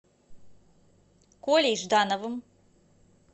колей ждановым